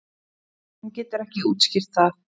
Hún getur ekki útskýrt það.